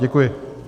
Děkuji.